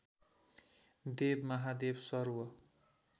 देव महादेव सर्व